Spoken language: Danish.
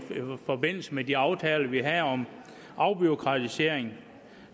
forbindelse med de aftaler vi havde om afbureaukratisering